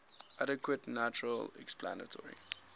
adequate natural explanatory